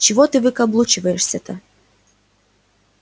чего ты выкаблучиваешься-то